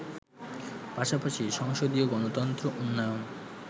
পাশাপাশি সংসদীয় গণতন্ত্র উন্নয়ন